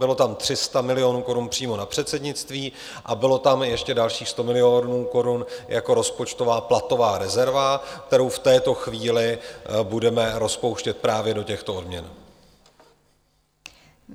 Bylo tam 300 milionů korun přímo na předsednictví a bylo tam ještě dalších 100 milionů korun jako rozpočtová platová rezerva, kterou v této chvíli budeme rozpouštět právě do těchto odměn.